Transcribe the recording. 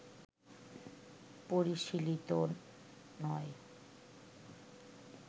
পরিশীলিত নয়